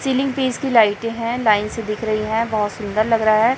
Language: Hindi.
सीलिंग पे इसकी लाईटें हैं लाइन से दिख रही हैं बहुत सुंदर लग रहा है।